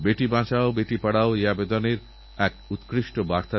আর সেটাই হবে আব্দুল কালামজীরপ্রটি আমাদের প্রকৃত শ্রদ্ধাঞ্জলি